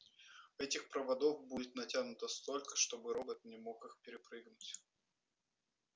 этих проводов будет натянуто столько чтобы робот не мог их перепрыгнуть